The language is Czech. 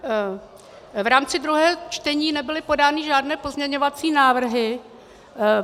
V rámci druhého čtení nebyly podány žádné pozměňovací návrhy.